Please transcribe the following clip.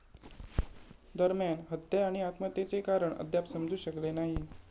दरम्यान, हत्या आणि आत्महत्येचे कारण अद्याप समजू शकलेले नाही.